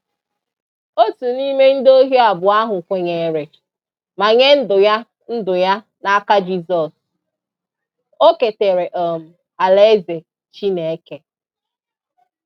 Otu n’ime ndị ohi abụọ ahụ kwenyere, ma nye ndụ ya ndụ ya n’aka Jisọs; o ketere um alaeze Chineke.